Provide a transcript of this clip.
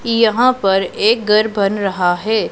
यहां पर एक घर बन रहा है।